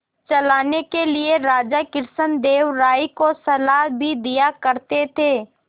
चलाने के लिए राजा कृष्णदेव राय को सलाह भी दिया करते थे